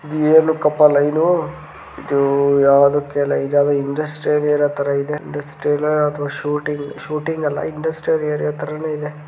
ಇದು ಏನಕಪ್ಪ ಲೈನ್ನು ಇದು ಯಾವದಕೆಲ್ಲಾ ಇದು ಯಾವದೋ ಇಂಡಸ್ಟ್ರಿ ಏರಿಯಾ ಇರೋ ತರ ಇದೆ ಇಂಡಸ್ಟ್ರಿಯಲ್ ಅಥವಾ ಶೂಟಿಂಗ್ ಶೂಟಿಂಗ್ ಅಲ್ಲಾ ಇಂಡಸ್ಟ್ರಿ ಏರಿಯಾ ತರನೇ ಇದೆ .